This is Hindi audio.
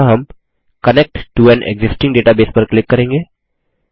यहाँ हम connect to an existing database पर क्लिक करेंगे